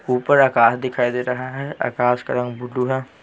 ऊपर आकाश दिखाई दे रहा है आकाश का रंग ब्लू है।